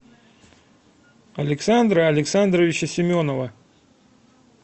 александра александровича семенова